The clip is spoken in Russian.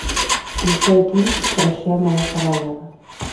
включай кинчик прощай моя королева